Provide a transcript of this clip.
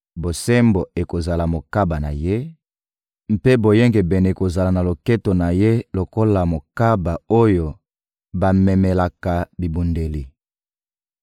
Bosembo ekozala mokaba na ye, mpe boyengebene ekozala na loketo na ye lokola mokaba oyo bamemelaka bibundeli.